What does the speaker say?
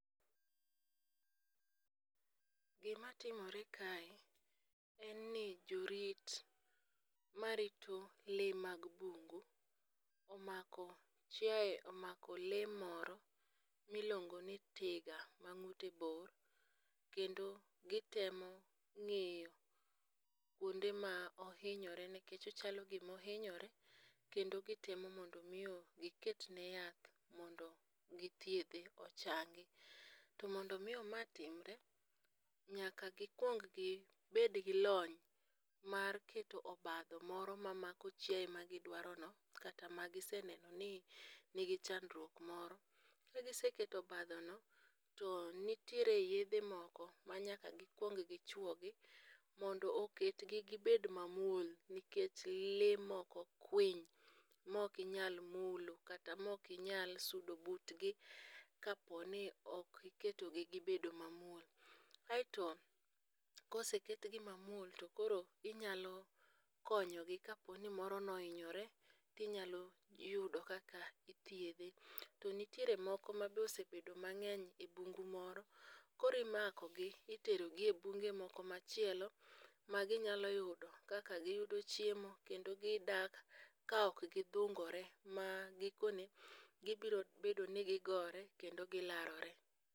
Gimatimore kae, en ni jorit marito lee mag bungu omako lee moro miluongoni tiga mang'ute bor, kendo gitemo ng'iyo kwonde ma ohinyore nikech ochalo gima ohinyore kendo gitemo mondo omi giketne yath mondo githiedhe ochangi. To mondo omi ma timre, nyaka gikwong gibed gi lony mar keto obadho moro mamako chiaye magidwarono kata magiseneno ni nigi chandruok moro. Kagiseketo oabdhono, to nitiere yedhe moko manyaka gikwong gichwogi mondo oketgi gibed mamuol, nikech lee moko kwiny mok inyal mulo kata mok inyal sudo butgi kapo ni ok iketogi gibedo mamuol. Aeto koseketgi mamuol, to koro inyalo konyogi kapo ni moro nohinyore to inyalo yudo kaka ithiedhe. To nitiere moko mabe osebedo mang'eny e bungu moro, koro imakogi iterogi e bunge moko machielo maginyalo yudo kaka giyudo chiemo kendo gidak ka ok gidhungore ma gikone gibiro bedo ni gigore kendo gilawore.